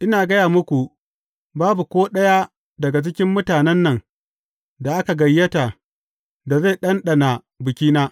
Ina gaya muku, babu ko ɗaya daga cikin mutanen nan da aka gayyata da zai ɗanɗana bikina.